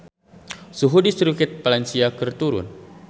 Suhu di Sirkuit Valencia keur turun